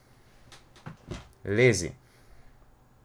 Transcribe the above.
Lezi!